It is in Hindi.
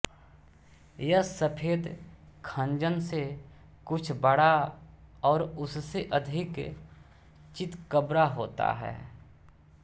यह सफेद खंजन से कुछ बड़ा और उससे अधिक चितकबरा होता है